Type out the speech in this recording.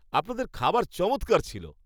আপনাদের খাবার চমৎকার ছিল।